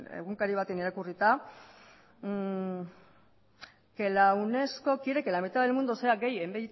egunkari batetan irakurrita que la unesco quiere que la mitad del mundo sea gay en